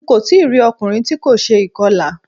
Ń kò tí rí ọkùnrin tí kò ṣe ìkọlà.